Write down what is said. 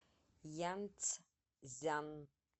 янцзян